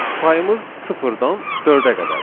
Sayımız sıfırdan dördə qədərdir.